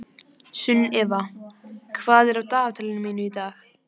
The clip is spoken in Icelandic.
Sunnefa, hvað er á dagatalinu mínu í dag?